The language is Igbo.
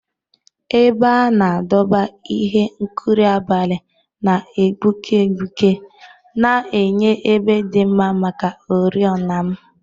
Ebe a na-adọba ihe nkuru abalị na-egbuke egbuke, na-enye ebe dị mma maka oriọna m.